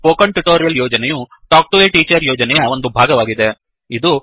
spoken tutorial ಯೋಜನೆಯು talk to a teacher ಯೋಜನೆಯ ಒಂದು ಭಾಗವಾಗಿದೆ